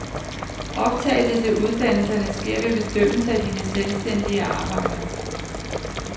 Optagelse til uddannelserne sker ved bedømmelse af dine selvstændige arbejder.